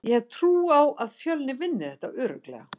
Ég hef trú á að Fjölnir vinni þetta örugglega.